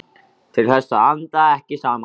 Til þess að anda ekki saman.